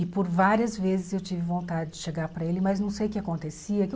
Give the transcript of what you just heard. E por várias vezes eu tive vontade de chegar para ele, mas não sei o que acontecia.